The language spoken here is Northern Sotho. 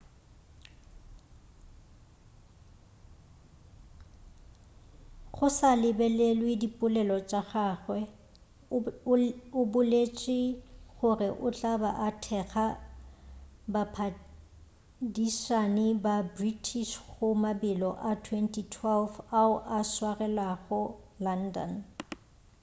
go sa lebelelwe dipolelo tša gagwe o boletše gore o tla ba a thekga baphadišani ba british go mabelo a 2012 ao a swarelwago london